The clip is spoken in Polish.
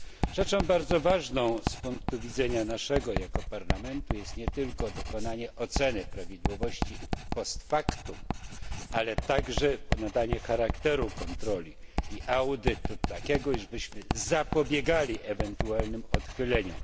Rzeczą bardzo ważną z naszego punktu widzenia jako Parlamentu jest nie tylko dokonanie oceny prawidłowości post factum ale także nadanie charakteru kontroli i audytu, tak abyśmy zapobiegali ewentualnym odchyleniom.